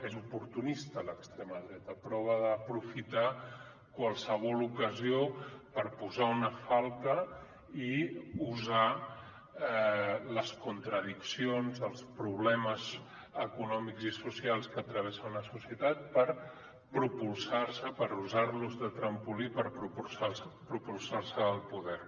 és oportunista l’extrema dreta prova d’aprofitar qualsevol ocasió per posar una falca i usar les contradiccions els problemes econòmics i socials que travessa una societat per propulsar se per usar los de trampolí per propulsar se al poder